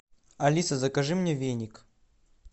алиса закажи мне веник